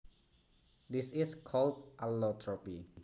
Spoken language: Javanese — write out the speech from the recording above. This is called allotropy